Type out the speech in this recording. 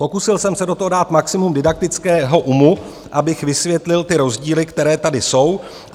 Pokusil jsem se do toho dát maximum didaktického umu, abych vysvětlil ty rozdíly, které tady jsou.